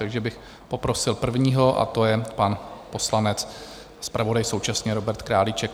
Takže bych poprosil prvního a to je pan poslanec a zpravodaj současně Robert Králíček.